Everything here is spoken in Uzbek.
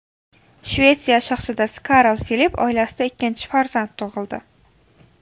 Shvetsiya shahzodasi Karl Filip oilasida ikkinchi farzand tug‘ildi.